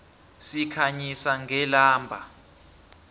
sikhanyisa ngelamba